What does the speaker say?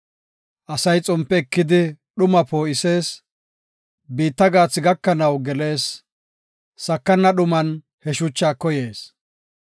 Asay xompe ekidi dhumaa poo7isees; biitta gaathi gakanaw gelees; sakana dhuman he shuchaa koyees.